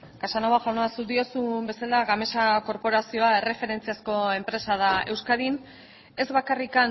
casanova jauna zuk diozun bezala gamesa korporazioa erreferentziazko enpresa da euskadin ez bakarrik